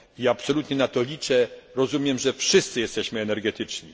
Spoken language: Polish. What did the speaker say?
I ja absolutnie na to liczę, rozumiem, że wszyscy jesteśmy energetyczni.